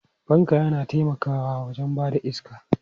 Fanka yana taimakawa wajen ba da iska.